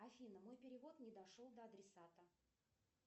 афина мой перевод не дошел до адресата